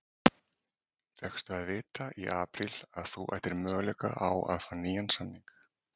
Fékkstu að vita í apríl að þú ættir möguleika á að fá nýjan samning?